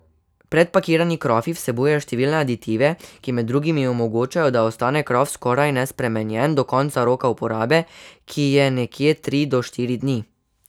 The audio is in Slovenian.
Predpakirani krofi vsebujejo številne aditive, ki med drugim omogočajo, da ostane krof skoraj nespremenjen do konca roka uporabe, ki je nekje tri do štiri dni.